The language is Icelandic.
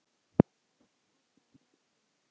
Elsku frænka er látin.